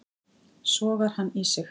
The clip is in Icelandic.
Sogar hann í sig.